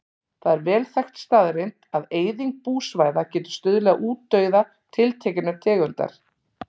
Það er vel þekkt staðreynd að eyðing búsvæða getur stuðlað að útdauða tiltekinnar tegundar.